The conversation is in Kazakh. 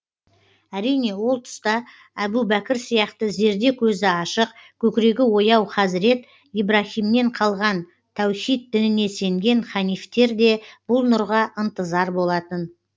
әрине ол тұста әбу бәкір сияқты зерде көзі ашық көкірегі ояу хазірет ибраһимнен қалған тәухид дініне сенген ханифтер де бұл нұрға ынтызар болатын